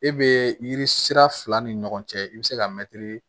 E be yiri sira fila ni ɲɔgɔn cɛ i be se ka mɛtiri